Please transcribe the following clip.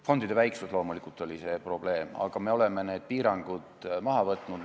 Fondide väiksus loomulikult oli see probleem, aga me oleme need piirangud maha võtnud.